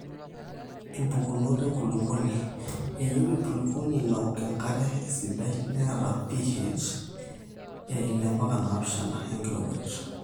impukunot enkulukuoni; eyie enkulukuoni naok enkare esidai neeta PH:6.0-7.0 enkirowuaj